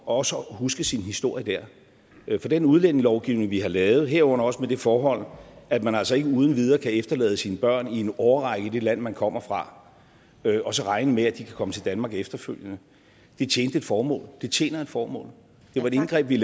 også at huske sin historie dér for den udlændingelovgivning vi har lavet herunder også med det forhold at man altså ikke uden videre kan efterlade sine børn i en årrække i det land man kommer fra og så regne med at de kan komme til danmark efterfølgende tjente et formål det tjener et formål det var et indgreb vi